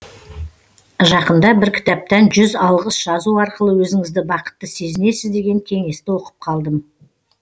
жақында бір кітаптан жүз алғыс жазу арқылы өзіңізді бақытты сезінесіз деген кеңесті оқып қалдым